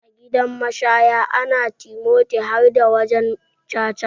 A gidan mashaya na timoti harda wajan caca.